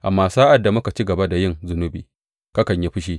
Amma sa’ad da muka ci gaba da yin zunubi, kakan yi fushi.